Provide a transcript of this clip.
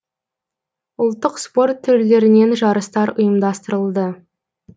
ұлттық спорт түрлерінен жарыстар ұйымдастырылды